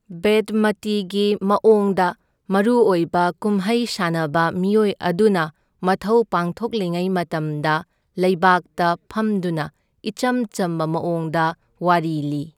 ꯕꯦꯗꯃꯇꯤꯒꯤ ꯃꯑꯣꯡꯗ ꯃꯔꯨ ꯑꯣꯏꯕ ꯀꯨꯝꯍꯩ ꯁꯥꯟꯅꯕ ꯃꯤꯑꯣꯏ ꯑꯗꯨꯅ ꯃꯊꯧ ꯄꯥꯡꯊꯣꯛꯂꯤꯉꯩ ꯃꯇꯝꯗ ꯂꯩꯕꯥꯛꯇ ꯐꯝꯗꯨꯅ ꯏꯆꯝ ꯆꯝꯕ ꯃꯑꯣꯡꯗ ꯋꯥꯔꯤ ꯂꯤ꯫